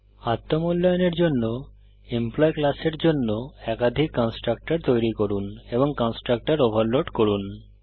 আত্ম মূল্যায়নের জন্য এমপ্লয়ী ক্লাসের জন্য একাধিক কন্সট্রাকটর তৈরী করুন এবং কন্সট্রাকটর ওভারলোড করুন